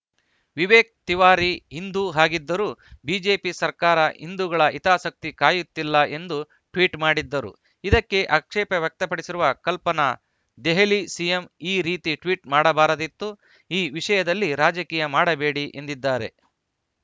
ವಿವೇಕ್‌ ತಿವಾರಿ ಹಿಂದೂ ಆಗಿದ್ದರೂ ಬಿಜೆಪಿ ಸರ್ಕಾರ ಹಿಂದೂಗಳ ಹಿತಾಸಕ್ತಿ ಕಾಯುತ್ತಿಲ್ಲ ಎಂದು ಟ್ವೀಟ್‌ ಮಾಡಿದ್ದರು ಇದಕ್ಕೆ ಆಕ್ಷೇಪ ವ್ಯಕ್ತಪಡಿಸಿರುವ ಕಲ್ಪನಾ ದೆಹಲಿ ಸಿಎಂ ಈ ರೀತಿ ಟ್ವೀಟ್‌ ಮಾಡಬಾರದಿತ್ತು ಈ ವಿಷಯದಲ್ಲಿ ರಾಜಕೀಯ ಮಾಡಬೇಡಿ ಎಂದಿದ್ದಾರೆ